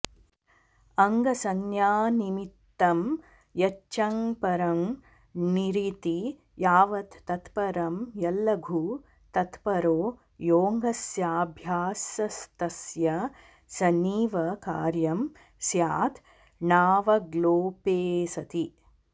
अङ्गसंज्ञानिमित्तं यच्चङ्परं णिरिति यावत् तत्परं यल्लघु तत्परो योऽङ्गस्याभ्यासस्तस्य सनीव कार्यं स्यात् णावग्लोपेऽसति